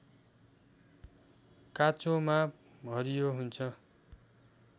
काँचोमा हरियो हुन्छ